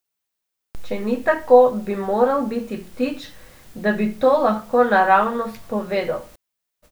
Če ni tako, bi moral biti ptič, da bi to lahko naravnost povedal.